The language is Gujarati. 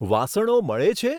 વાસણો મળે છે?